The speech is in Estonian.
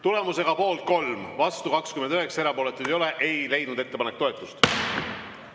Tulemusega poolt 3, vastuolijaid on 29 ja erapooletuid ei ole, ei leidnud ettepanek toetust.